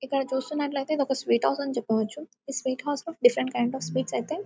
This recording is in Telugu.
ఇక్కడ చూస్తున్నట్లైతే ఇదొక స్వీట్ హౌస్ అని చెప్పవచ్చు ఈ స్వీట్ హౌస్ లో డిఫరెంట్ అఫ్ స్వీట్స్ అయితే--